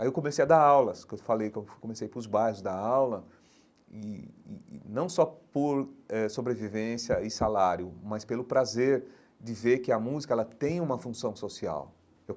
Aí eu comecei a dar aulas, que eu falei que eu comecei para os bairros dar aula, e e e não só por eh sobrevivência e salário, mas pelo prazer de ver que a música ela tem uma função social eu.